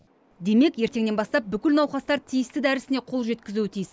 демек ертеңнен бастап бүкіл науқастар тиісті дәрісіне қол жеткізуі тиіс